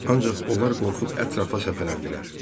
Ancaq onlar qorxub ətrafa səpələndilər.